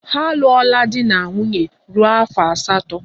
Ha alụọla di na nwunye ruo afọ asatọ.